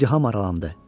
İzdiham aralandı.